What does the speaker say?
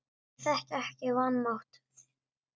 Ég þekki vanmátt þinn.